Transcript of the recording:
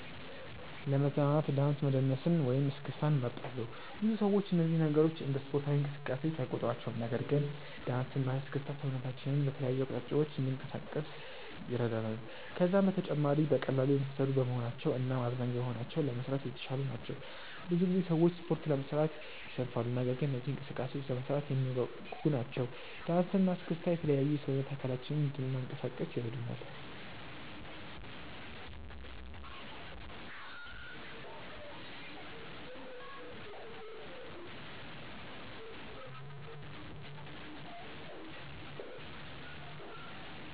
ለመዝናናት ዳንስ መደነስን ወይም እስክስታን እመርጣለሁ። ብዙ ሰዎች እነዚህን ነገሮች እንደ ስፖርታዊ እንቅስቃሴ አይቆጥሯቸውም። ነገር ግን ዳንስ እና እስክስታ ሰውነታችንን በተለያዩ አቅጣጫዎች እንድናንቀሳቅስ ይረዳናል። ከዛም በተጨማሪ በቀላሉ የሚሰሩ በመሆናቸው እናም አዝናኝ በመሆናቸው ለመስራት የተሻሉ ናቸው። ብዙ ጊዜ ሰዎች ስፖርት ለመስራት ይሰንፋሉ። ነገር ግን እነዚህ እንቅስቃሴዎች ለመስራት የሚያጓጉ ናቸው። ዳንሰ እና እስክስታ የተለያዩ የሰውነት አካላችንን እንናንቀሳቀስ ይረዱናል።